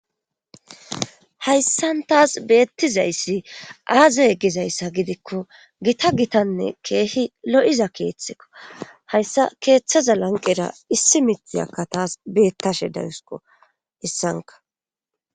hayssan taas beettizayssi aazaye gizayssa gidikko gita gitanne keehi lo7iza keeththekko hayssa keeththaza lanqera issi mitiyakka taas beettashe dayusko issanka